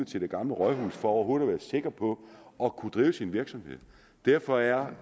til det gamle rådhus for overhovedet at være sikker på at kunne drive sin virksomhed derfor er